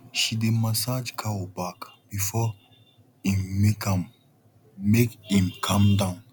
she dey massage cow back before em milk am make em calm down